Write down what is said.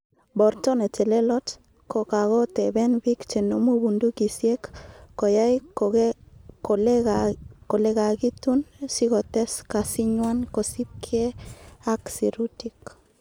Borto netelelot, ko kakoteben bik chenomu bundukisiek koyai kolelakitun sikotes kasinywan kosiibge ak sirutik.